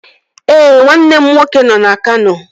Ee, nwanne m nwoke nọ na Kano